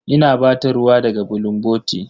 Ina ba ta ruwa daga bulunboti.